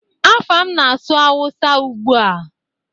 Afam na-asụ Hausa ụgbua?